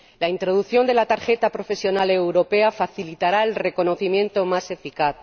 La introducción de la tarjeta profesional europea facilitará el reconocimiento más eficaz